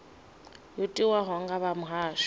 yo tiwaho nga vha muhasho